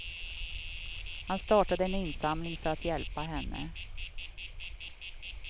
Han startade en insamling för att hjälpa henne.